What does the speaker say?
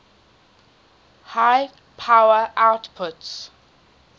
high power outputs